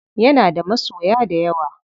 Yana da masoya dayawa.